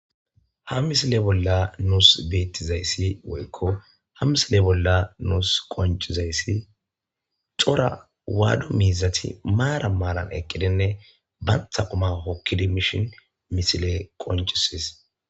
Ha misile bolla nuusi beetizay woyko ha misile bollan nuusi qoncizay, cora waado miizati maaran maaran eqqidi banta quma hokkidi mishin misiley qoncisidees.